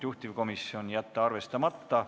Juhtivkomisjoni otsus: jätta arvestamata.